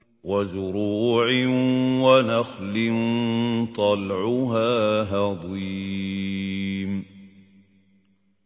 وَزُرُوعٍ وَنَخْلٍ طَلْعُهَا هَضِيمٌ